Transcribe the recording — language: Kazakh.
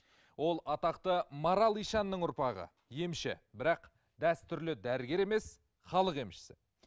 ол атақты марал ишанның ұрпағы емші бірақ дәстүрлі дәрігер емес халық емшісі